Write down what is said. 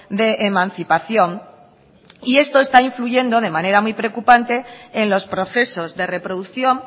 de emancipación y esto está influyendo de manera muy preocupante en los procesos de reproducción